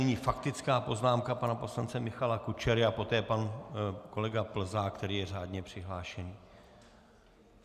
Nyní faktická poznámka pana poslance Michala Kučery a poté pan kolega Plzák, který je řádně přihlášen.